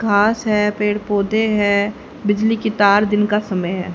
घास है पेड़ पौधे हैं बिजली के तार दिन का समय है।